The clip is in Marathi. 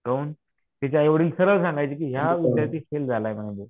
काहून? त्याचे आईवडील सरळ सांगायचे की हा विद्यार्थी फेल झालाय म्हणायचे.